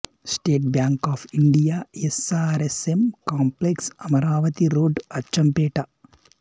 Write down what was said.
state Bank of India S R S M complex Amaravati road Achampet